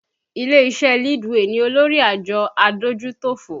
Ilé iṣẹ́ Leadway ni olórí àjọ adójútòfò